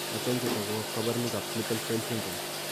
Achon chetogu ak kaborunoik ab Klippel Feil syndrome?